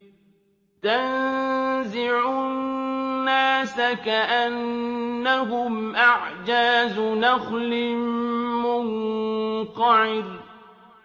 تَنزِعُ النَّاسَ كَأَنَّهُمْ أَعْجَازُ نَخْلٍ مُّنقَعِرٍ